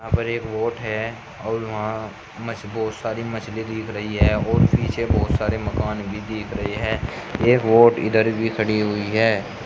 वहाँ पर एक बोट है और वहाँ मछ बहुत सारी मछली दिख रही है और पीछे बहुत सारे मकान भी दिख रहे है एक बोट इधर भी ख़डी हुई है।